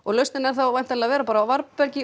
lausnin er þá að vera á varðbergi